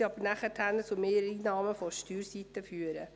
Dies wird jedoch zu Mehreinnahmen auf der Steuerseite führen.